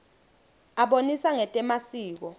abonisa ngetemasiko